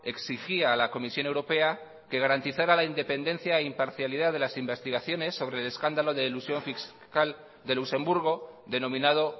exigía a la comisión europea que garantizara la independencia e imparcialidad de las investigaciones sobre el escándalo de elusión fiscal de luxemburgo de nominado